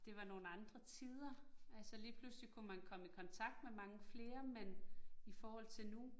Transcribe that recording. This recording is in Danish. Det var nogle andre tider, altså lige pludselig kunne man komme i kontakt med mange flere, men i forhold til nu